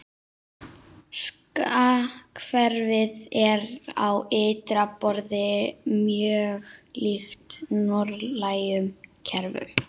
Skattkerfið er á ytra borði mjög líkt norrænu kerfunum.